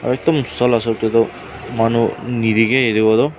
aru ekdum soa lah hisab teh tu manu yatewa toh.